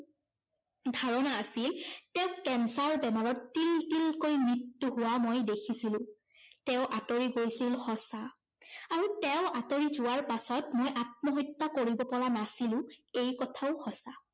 ধাৰণা আছিল তেওঁক cancer বেমাৰত তিলতিলকৈ মৃত্যু হোৱা মই দেখিছিলো। তেওঁ আঁতৰি গৈছিল সঁচা, আৰু তেওঁ আঁতৰি যোৱাৰ পাছত মই আত্মহত্যা কৰিব পৰা নাছিলো, এই কথাও সঁচা।